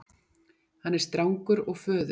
Hann er strangur og föður